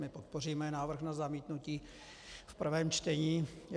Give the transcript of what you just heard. My podpoříme návrh na zamítnutí v prvém čtení.